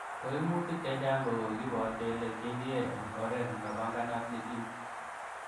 Koimutik chechang' kokikibor kele kindie en oret nemapanganat nekim.